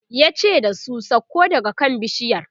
yace da su "sauko daga kan bishiyar!"